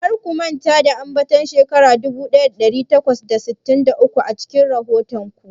Kar ku manta da ambaton shekara dubu daya dari takwas da sittin da uku a cikin rahoton ku.